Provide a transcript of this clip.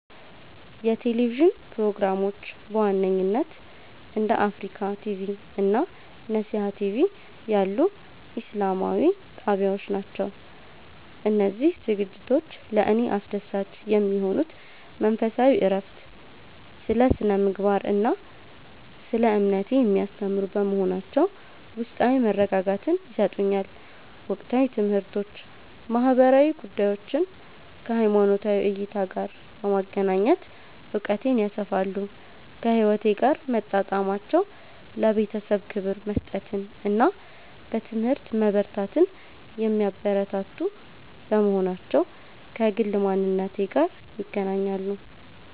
የቴሌቪዥን ፕሮግራሞች በዋነኝነት እንደ አፍሪካ ቲቪ (Africa TV) እና ነሲሃ ቲቪ (Nesiha TV) ያሉ ኢስላማዊ ጣቢያዎች ናቸው. እነዚህ ዝግጅቶች ለእኔ አስደሳች የሚሆኑት መንፈሳዊ እረፍት፦ ስለ ስነ-ምግባር እና ስለ እምነቴ የሚያስተምሩ በመሆናቸው ውስጣዊ መረጋጋትን ይሰጡኛል። ወቅታዊ ትምህርቶች፦ ማህበራዊ ጉዳዮችን ከሃይማኖታዊ እይታ ጋር በማገናኘት እውቀቴን ያሰፋሉ. ከህይወቴ ጋር መጣጣማቸው፦ ለቤተሰብ ክብር መስጠትን እና በትምህርት መበርታትን የሚያበረታቱ በመሆናቸው ከግል ማንነቴ ጋር ይገናኛሉ.